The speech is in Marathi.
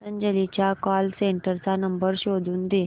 पतंजली च्या कॉल सेंटर चा नंबर शोधून दे